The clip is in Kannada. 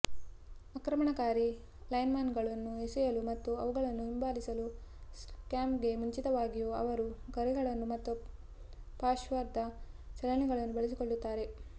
ಆಕ್ರಮಣಕಾರಿ ಲೈನ್ಮನ್ಗಳನ್ನು ಎಸೆಯಲು ಮತ್ತು ಅವುಗಳನ್ನು ಹಿಂಬಾಲಿಸಲು ಸ್ನ್ಯಾಪ್ಗೆ ಮುಂಚಿತವಾಗಿಯೂ ಅವರು ಗರಿಗಳನ್ನು ಮತ್ತು ಪಾರ್ಶ್ವದ ಚಲನೆಗಳನ್ನು ಬಳಸಿಕೊಳ್ಳುತ್ತಾರೆ